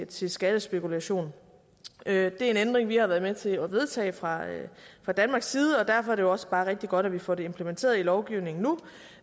til skattespekulation det er en ændring vi har været med til at vedtage fra danmarks side og derfor er det også bare rigtig godt at vi får det implementeret i lovgivningen nu